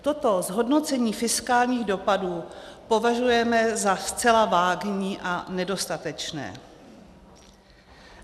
Toto zhodnocení fiskálních dopadů považujeme za zcela vágní a nedostatečné.